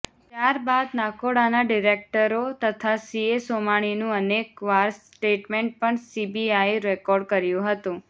ત્યાર બાદ નાકોડાના ડિરેક્ટરો તથા સીએ સોમાણીનું અનેકવાર સ્ટેટમેન્ટ પણ સીબીઆઈએ રેકોર્ડ કર્યું હતું